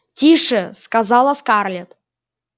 тише сказала скарлетт